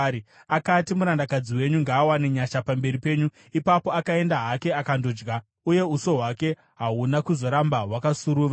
Akati, “Murandakadzi wenyu ngaawane nyasha pamberi penyu.” Ipapo akaenda hake akandodya, uye uso hwake hahuna kuzoramba hwakasuruvara.